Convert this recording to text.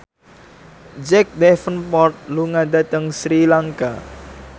Jack Davenport lunga dhateng Sri Lanka